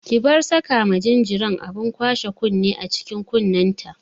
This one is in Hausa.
Ki bar saka ma jinjiran abin kwashe kunne a cikin kunnenta!